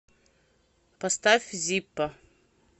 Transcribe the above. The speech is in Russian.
поставь зиппо